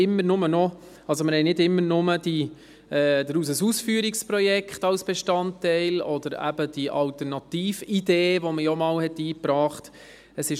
Wir haben nicht immer nur das Ausführungsprojekt als Bestandteil oder eben die Alternatividee, die einmal eingebracht worden ist.